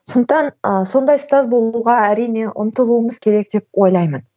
сондықтан ы сондай ұстаз болуға әрине ұмтылуымыз керек деп ойлаймын